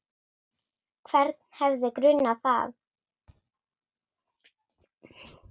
Hvern hefði grunað það?